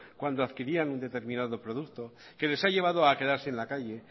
cuando adquirían un determinado producto que les ha llevado a quedarse en la calle